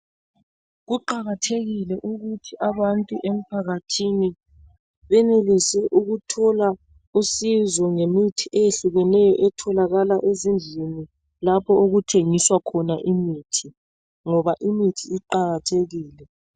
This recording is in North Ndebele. Kuqakathekile ukuthi abantu emphakathini benelise ukuthola usizo ngemithi eyehlukeneyo etholakala ezindlini lapho okuthengiswa khona imithi ngoba imithi iqakathekile.